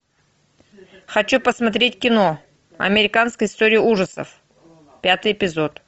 хочу посмотреть кино американская история ужасов пятый эпизод